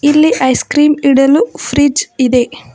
ಇಲ್ಲಿ ice cream ಇಡಲು fridge ಇದೆ.